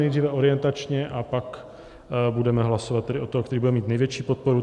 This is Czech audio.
Nejdříve orientačně a pak budeme hlasovat tedy od toho, který bude mít největší podporu.